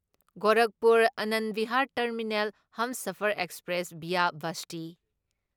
Gorakhpur Anand Vihar terminal Humsafar express via Basti